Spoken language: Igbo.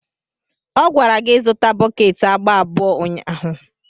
Ọ gwara gị izụta bọket agba abụọ ụnyaahụ.